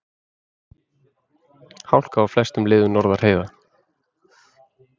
Hálka á flestum leiðum norðan heiða